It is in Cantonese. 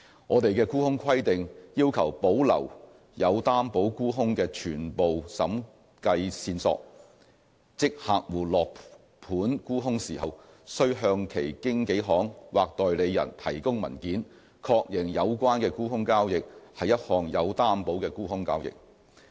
我們的沽空規定要求保留有擔保沽空的全部審計線索，即客戶落盤沽空時，須向其經紀行或代理人提供文件，確認有關的沽空交易是一項有擔保的沽空交易。